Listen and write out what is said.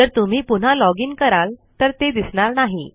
जर तुम्ही पुन्हा लॉगीन कराल तर ते दिसणार नाही